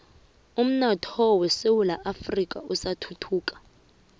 umnotho wesewula afrika usathuthuka